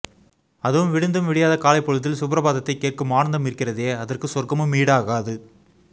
அதுவும் விடிந்தும் விடியாத காலைப் பொழுதில் சுப்ரபாதத்தைக் கேட்கும் ஆனந்தம் இருக்கிறதே அதற்கு சொர்க்கமும் ஈடாகாது